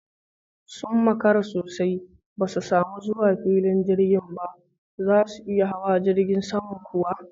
Sun makara sosai ba su samu zuwa filin jirgin ba! Zasu iya hawa jirgin saman kuwa?